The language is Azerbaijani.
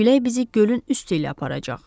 Külək bizi gölün üstü ilə aparacaq.